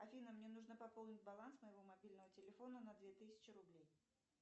афина мне нужно пополнить баланс моего мобильного телефона на две тысячи рублей